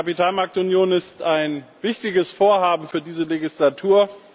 Die Kapitalmarktunion ist ein wichtiges Vorhaben für diese Legislatur.